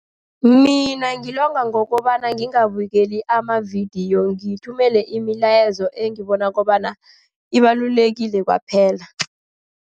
Mina ngilonga ngokobana ngingabukeli amavidiyo, ngithumele imilayezo engibona kobana ibalulekile kwaphela.